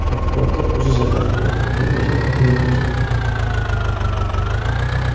Oqibatda o‘zi zarar ko‘rdi, deb yozadi Meduza.